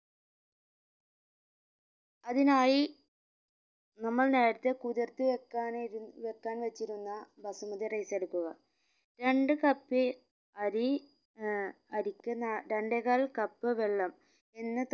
അതിനായി നമ്മൾ നേരെത്തെ കുതിർത്ത് വെക്കാനിരുന്ന വെക്കാൻ വെച്ചിരുന്ന ബസുമതി rice എടുക്കുക രണ്ട് cup അരി ഏർ അരിക്ക് നാ രണ്ടേകാൽ cup വെള്ളം എന്ന